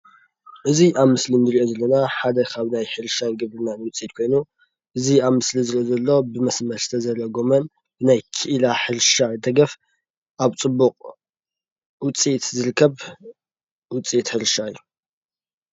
እዚ ኣብ ምስሊ አንሪእዮ ዘለና ሓደ ካብ ናይ ሕርሻ ግብርናን ውፂኢት ኮይኑ እዚ ኣብ ምስሊ ዝረአ ዘሎ ብ መስመር ዝተዘርአ ጎመን ናይ ኪኢላ ሕርሻ ደገፍ ኣብ ፅቡቅ ውፂኢት ዝርከብ ውፂኢት ሕርሻ እዩ።